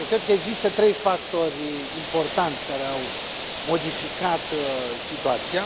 Eu cred că există trei factori importanți care au modificat situația.